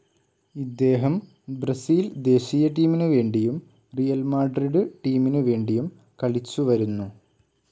ഇദ്ദേഹം ബ്രസീൽ ദേശീയ ടീമിനു വേണ്ടിയും റിയൽ മാഡ്രിഡ് ടീമിനു വേണ്ടിയും കളിച്ചു വരുന്നു.